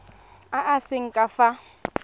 a a seng ka fa